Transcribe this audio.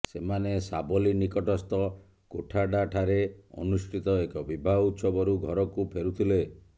ସେମାନେ ସାବଲି ନିକଟସ୍ଥ ଗୋଠାଡାଠାରେ ଅନୁଷ୍ଠିତ ଏକ ବିବାହ ଉତ୍ସବରୁ ଘରକୁ ଫେରୁଥିଲେ